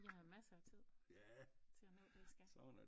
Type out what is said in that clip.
I har massere af tid til at nå det i skal